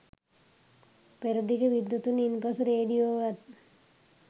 අපරදිග විද්වතුන් ඉන්පසු රේඩියෝවත්